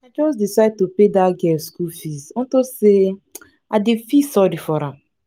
i just decide to pay dat girl school fees unto say i dey feel sorry for am